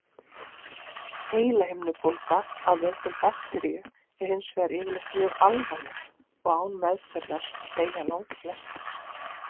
Heilahimnubólga af völdum bakteríu er hins vegar yfirleitt mjög alvarleg og án meðferðar deyja langflestir.